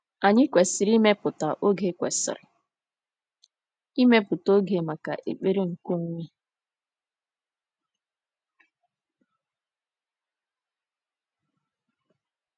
Anyị kwesịrị ịmepụta oge kwesịrị ịmepụta oge maka ekpere nke onwe.